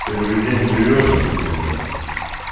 первый день живёшь что ли ибать